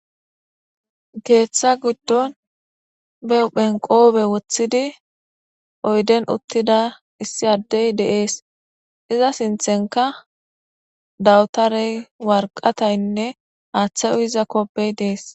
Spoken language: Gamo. Geeththa giddon beu phenqoobe woththidi oyden uttida issi addey deees iza sinthenka dawutarey warqataynne aaththay uhiza kopbey dees.